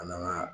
An n'an ka